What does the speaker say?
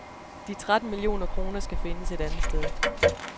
De tretten millioner kroner skal findes et andet sted.